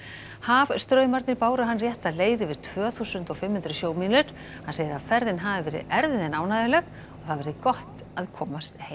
hafstraumarnir báru hann rétta leið yfir tvö þúsund og fimm hundruð sjómílur hann segir að ferðin hafi verið erfið en ánægjuleg og það verði gott að komast heim